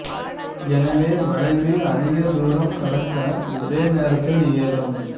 எனவே வளைவில் அதிக தூரம் கடக்க ஒரே நேரத்தில் இயலும்